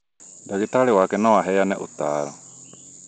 ndagĩtarĩ wake no aheane ũtaaro